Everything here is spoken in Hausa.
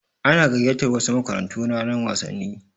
Ana gayyatar wasu makarantu ranar wasanni.